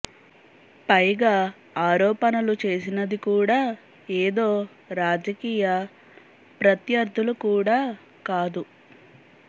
పైగా ఆరోపణలు చేసినది కూడా ఏదో రాజకీయ ప్రత్యర్థులు కూడా కాదు